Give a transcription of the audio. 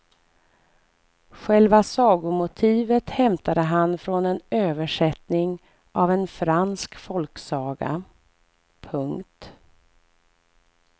Själva sagomotivet hämtade han från en översättning av en fransk folksaga. punkt